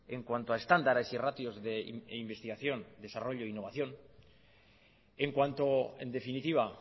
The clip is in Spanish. en cuanto a estándares y ratios de investigación desarrollo e innovación en cuanto en definitiva